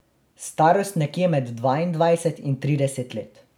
Starost nekje med dvaindvajset in trideset let.